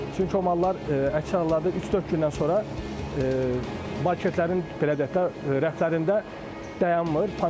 Çünki o mallar əksər halda 3-4 gündən sonra marketlərin, belə deyək də, rəflərində dayanmır.